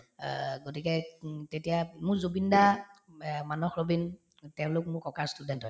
অহ্, গতিকে উম তেতিয়া মোৰ জুবিন দা, এহ্ মানস ৰবীন অ তেওঁলোক মোৰ ককাৰ student হয়